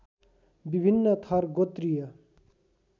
विभिन्न थर गोत्रीय